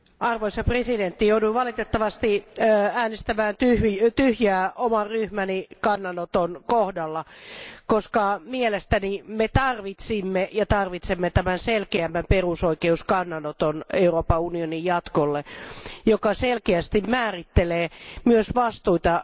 Arvoisa puhemies, jouduin valitettavasti äänestämään tyhjää oman ryhmäni kannanoton kohdalla, koska mielestäni me tarvitsimme ja tarvitsemme tämän selkeämmän perusoikeuskannanoton Euroopan unionin jatkolle, joka selkeästi määrittelee myös vastuita